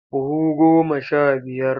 Buhu goma sha biyar.